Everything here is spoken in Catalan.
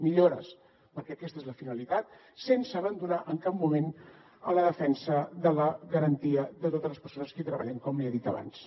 millores perquè aquesta és la finalitat sense abandonar en cap moment la defensa de la garantia de totes les persones que hi treballen com li he dit abans